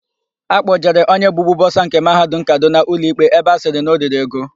Akpọjere onye bụbu bọsa nke Mahadum Kadụna ụlọikpe ebe a sịrị na o riri ego.